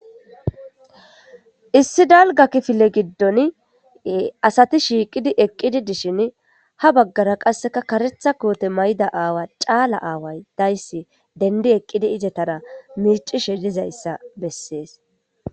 issi dalga kifile gathan asati shiqidi eqidi dishin ha bagara qase karetha kote mayidi eqida aawozi awa daysi dendi eqidi etara micishe de'es